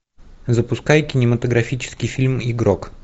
запускай кинематографический фильм игрок